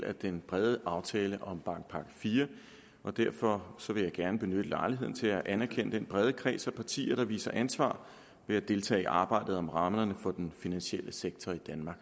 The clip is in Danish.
af den brede aftale om bankpakke iv derfor vil jeg gerne benytte lejligheden til at anerkende den brede kreds af partier der viser ansvar ved at deltage i arbejdet om rammerne for den finansielle sektor i danmark